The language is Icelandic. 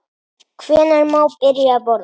Hvenær má byrja að borða?